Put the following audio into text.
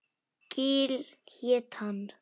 Gil hét hann.